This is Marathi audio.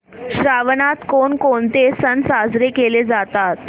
श्रावणात कोणकोणते सण साजरे केले जातात